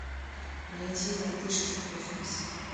найти мартышки в космосе